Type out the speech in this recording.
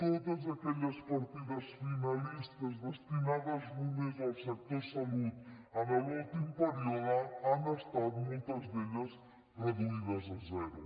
totes aquelles partides finalistes destinades només al sector salut en l’últim període han estat moltes d’elles reduïdes a zero